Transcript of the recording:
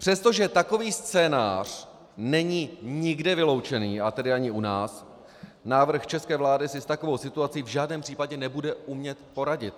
Přestože takový scénář není nikde vyloučen, a tedy ani u nás, návrh české vlády si s takovou situací v žádném případě nebude umět poradit.